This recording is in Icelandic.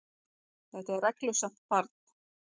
Þetta er reglusamt barn.